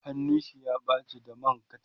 hannun shi ya ɓace da man kacha